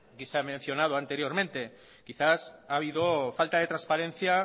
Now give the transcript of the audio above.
que se han mencionado anteriormente quizás ha habido falta de transparencia